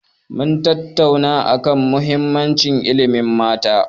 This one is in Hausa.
Mun tattauna a kan muhimmanci ilimin mata.